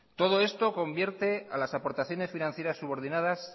todo esto convierte a las aportaciones financieras subordinadas